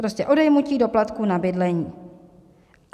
Prostě odejmutí doplatku na bydlení.